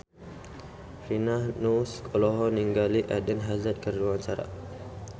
Rina Nose olohok ningali Eden Hazard keur diwawancara